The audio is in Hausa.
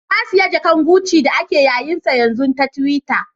Na siya jaka'n guci da ake yayen sa yanzu ta tiwitta.